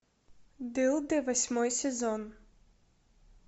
дылды восьмой сезон